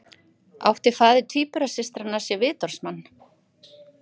Átti faðir tvíburasystranna sér vitorðsmann